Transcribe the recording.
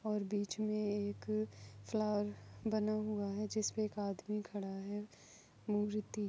और बीच मे एक फ्लावर बना हुआ है जिसपे एक आदमी खडा हुआ है मूर्ति --